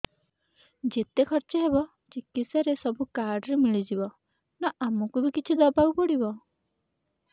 ଯେତେ ଖର୍ଚ ହେବ ଚିକିତ୍ସା ରେ ସବୁ କାର୍ଡ ରେ ମିଳିଯିବ ନା ଆମକୁ ବି କିଛି ଦବାକୁ ପଡିବ